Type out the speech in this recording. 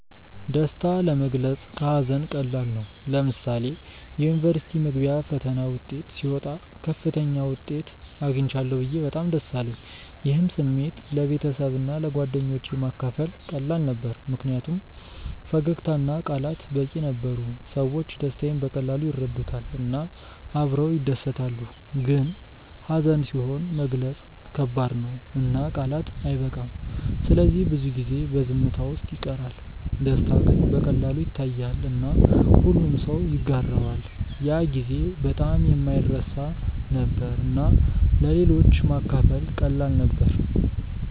ደስታ ለመግለጽ ከሀዘን ቀላል ነው። ለምሳሌ የዩኒቨርሲቲ መግቢያ ፈተና ውጤት ሲወጣ ከፍተኛ ውጤት አግኝቻለሁ ብዬ በጣም ደስ አለኝ። ይህን ስሜት ለቤተሰብና ለጓደኞቼ ማካፈል ቀላል ነበር ምክንያቱም ፈገግታ እና ቃላት በቂ ነበሩ። ሰዎች ደስታዬን በቀላሉ ይረዱታል እና አብረው ይደሰታሉ። ግን ሀዘን ሲሆን መግለጽ ከባድ ነው እና ቃላት አይበቃም ስለዚህ ብዙ ጊዜ በዝምታ ውስጥ ይቀራል። ደስታ ግን በቀላሉ ይታያል እና ሁሉም ሰው ይጋራዋል። ያ ጊዜ በጣም የማይረሳ ነበር እና ለሌሎች ማካፈል ቀላል ነበር።